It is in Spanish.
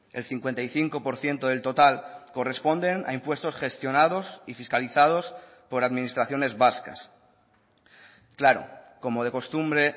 el cincuenta y cinco por ciento del total corresponden a impuestos gestionados y fiscalizados por administraciones vascas claro como de costumbre